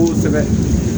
Kosɛbɛ